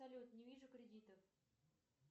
салют не вижу кредитов